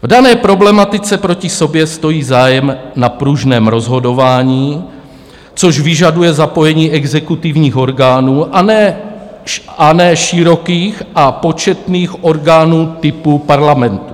V dané problematice proti sobě stojí zájem na pružném rozhodování, což vyžaduje zapojení exekutivních orgánů, a ne širokých a početných orgánů typu parlamentu.